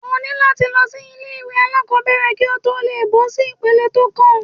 O ní láti lọ sí ilé ìwé alákòbẹ̀rẹ̀ kí o tó lè gbọ́ sí ipele tó kàn.